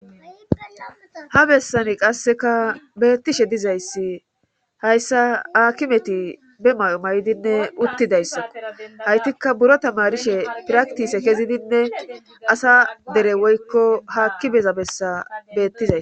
ha bessani qasseka beettishe dizayssi hayssa hakimeti be may7o maydinne uttidayssakko haytikka buro tamarishe piraktise kezidinne asa dere woykko haakki beza bessa beettizay